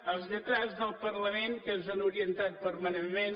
als lletrats del parlament que ens han orientat permanentment